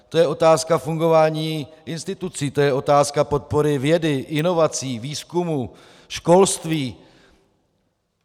To je otázka fungování institucí, to je otázka podpory vědy, inovací, výzkumu, školství.